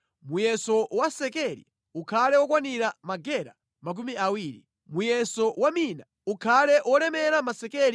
Muyeso wa sekeli ukhale wokwanira magera makumi awiri. Muyeso wa mina ukhale wolemera masekeli 60.